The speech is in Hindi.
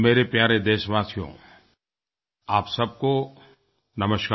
मेरे प्यारे देशवासियो आप सबको नमस्कार